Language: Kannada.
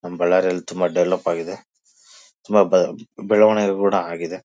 ನಮ್ಮ ಬಳ್ಳಾರಿಯಲ್ಲಿ ತುಂಬ ಡೆವೆಲೊಪ್ ಆಗಿದೆ ತುಂಬ ಬೆಳ ಬೆಳವನಿಗೇನು ಆಗಿದೆ.